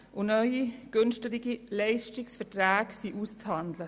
Es sind neue, preisgünstigere Verträge auszuhandeln.